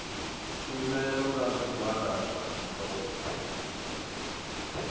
tshumelo kha zwigwada zwa zwikolo